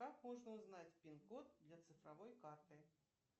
как можно узнать пин код для цифровой карты